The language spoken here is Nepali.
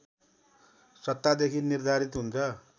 सत्तादेखि निर्धारित हुन्छ